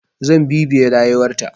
Zan bibiye rayuwar ta.